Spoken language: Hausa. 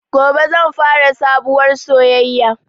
Gobe zan fara sabuwar soyaya